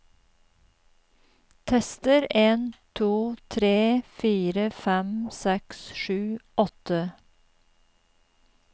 Tester en to tre fire fem seks sju åtte